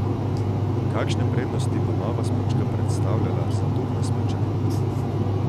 Kakšne prednosti bo nova smučka predstavljala za turne smučarje?